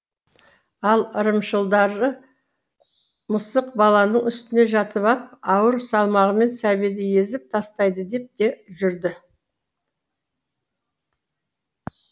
ал ырымшылдары мысық баланың үстіне жатып ап ауыр салмағымен сәбиді езіп тастайды деп те жүрді